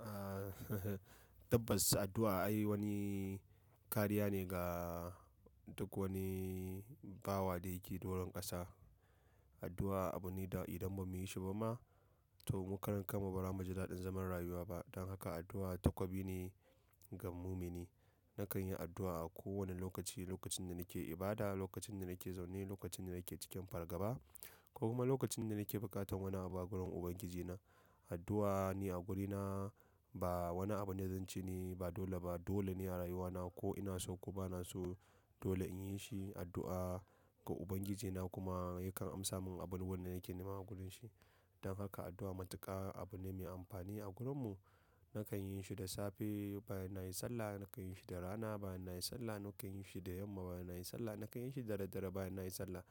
Ah, tabbas addu'a ai wani kariya ne ga duk wani bawa da yake doron ƙasa. Addu'a abu ne da idan ba mu yi shi ba ma, to mu karan kan mu ba ra mu ji daɗin zaman rayuwa ba. Dan haka addu'a takobi ne ga mumini. Nakan yi addu'a a kowanne lokaci, lokacin da nake ibada, lokacin da nake zaune, lokacin da nake cikin fargaba ko kuma lokacin da nake buƙatan wani abu a gurin Ubangiji na. Addu'a ni a gurina ba wani abu ne da zance ne ba dole ba. Dole ne a rayuwana ko ina so ko bana so dole in yi shi addu'a ga Ubangiji na kuma yakan amsa mun abubuwan da nake nema a gurin shi. Dan haka addu'a matuƙa abu ne mai amfani a gurinmu. Nakan yin shi da safe bayan na yi sallah, nakan yin shi da rana bayan na yi sallah, nakan yin shi da yamma bayan na yi sallah, nakan yin shi da daddare bayan na yi sallah.